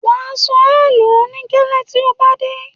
Wà̀ á sọ ẹ̀ló ní gẹ́lé tí ó bá dé.